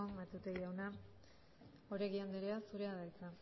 matute jauna oregi andrea zurea da hitza